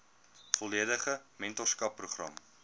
volledige mentorskap program